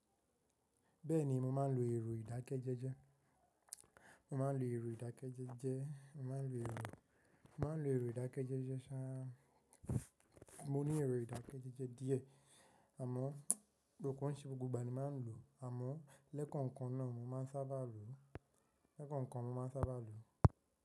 Bẹ́ẹ̀ni, mo máa ń lo ẹ̀rọ ìdákẹ́jẹẹ́jẹ́. Mo máa ń lo ẹ̀rọ ìdákẹ́jẹẹ́jẹ́, mo máa ń lo ẹ̀rọ ìdákẹ́jẹẹ́jẹ́ ṣá, mo ní ẹ̀rọ ìdákẹ́jẹẹ́jẹ́ díẹ̀ àmọ́ ko sey gbogbo ìgbà ni màá ń lò, àmọ́ lẹ́kọ̀ọ̀kan kan náà mo máa ń sábà lò, lẹ́kọ̀ọ̀kan mo máa ń sábà lò.